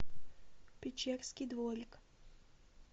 печерский дворик